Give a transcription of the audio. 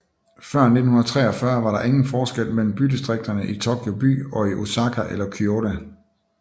Før 1943 var der ingen forskel mellem bydistrikterne i Tokyo By og i Osaka eller Kyoto